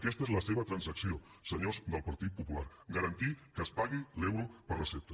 aquesta és la seva transacció senyors del partit popular garantir que es pagui l’euro per recepta